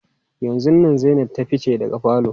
Yanzun nan Zainab ta fice daga falo.